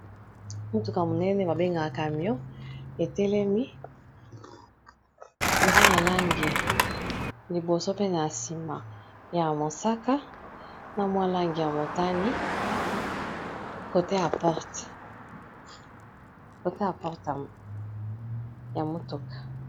Mutuka monene babengaka camion etelemi eza na langi liboso pene ya sima ya mosaka na mwa langi ya motani cote ya porte ya mutuka.